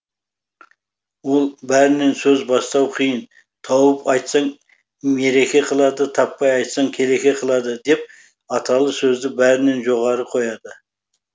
ол бәрінен сөз бастау қиын тауып айтсаң мереке қылады таппай айтсаң келеке қылады деп аталы сөзді бәрінен жоғары қояды